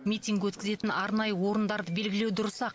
митинг өткізетін арнайы орындарды белгілеу дұрыс ақ